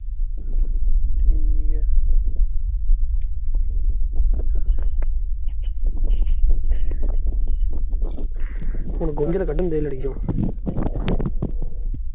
ਹੁਣ ਗੁੰਜਾਲਾਂ ਕੱਢਣ ਦੇ ਲੜੀ ਨੂੰ